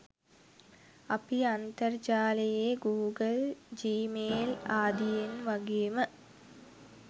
අපි අන්තර්ජාලයේ Google Gmail ආදියෙන් වගේම